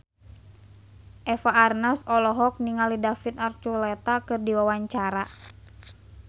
Eva Arnaz olohok ningali David Archuletta keur diwawancara